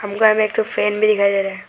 में एक ठो फैन भी दिखाई दे रहा है।